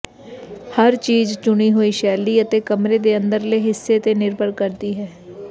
ਹਰ ਚੀਜ਼ ਚੁਣੀ ਹੋਈ ਸ਼ੈਲੀ ਅਤੇ ਕਮਰੇ ਦੇ ਅੰਦਰਲੇ ਹਿੱਸੇ ਤੇ ਨਿਰਭਰ ਕਰਦੀ ਹੈ